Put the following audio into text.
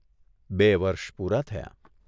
બે વર્ષ પૂરાં થયાં.